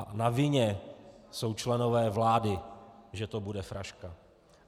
A na vině jsou členové vlády, že to bude fraška.